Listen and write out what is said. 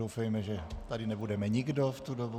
Doufejme, že tady nebudeme nikdo v tu dobu.